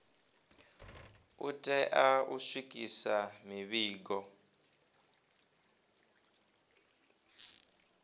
u tea u swikisa mivhigo